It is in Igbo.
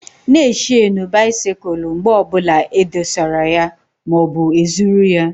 Na e shenu bisikul mgbe ọbụla e dosara ya maọbụ e zụrụ ya!